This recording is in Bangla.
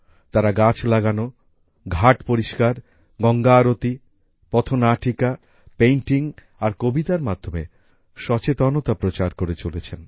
তারা গাছ লাগানো ঘাট পরিষ্কার গঙ্গা আরতি পথ নাটিকা পেইন্টিং আর কবিতার মাধ্যমে সচেতনতা প্রচার করে চলেছেন